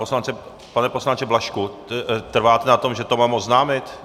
Pane poslanče Blažku, trváte na tom, že to mám oznámit?